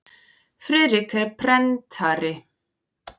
Friðrik er prentari.